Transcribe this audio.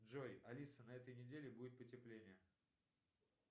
джой алиса на этой неделе будет потепление